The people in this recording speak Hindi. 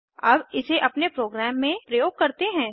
अब इसे अपने प्रोग्राम में प्रयोग करते हैं